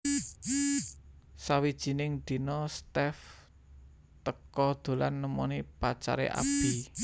Sawijining dina Steff teka dolan nemoni pacare Abby